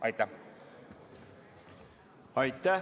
Aitäh!